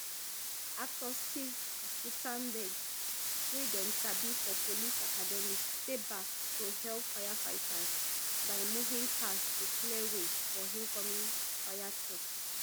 actor steve gut ten berg wey dem sabi for police academy stay back to help firefighters by moving cars to clear way for incoming fire trucks